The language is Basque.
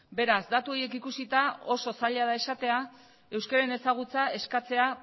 beraz datu horiek ikusita oso zaila da esatea euskararen ezagutza eskatzea